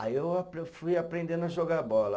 Aí eu eu fui aprendendo a jogar bola.